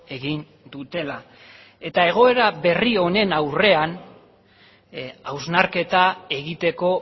egin dutela egoera berri honen aurrean hausnarketa egiteko